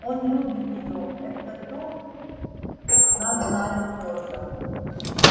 он любит её это то она знает твёрдо